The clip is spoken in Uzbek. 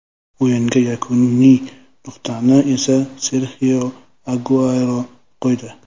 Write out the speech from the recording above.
O‘yinga yakuniy nuqtani esa Serxio Aguero qo‘ydi.